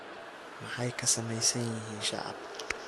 Maxay ka samaysan yihiin shacaab?